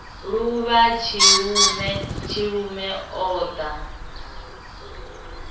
luvha tshilume tshilume o ḓo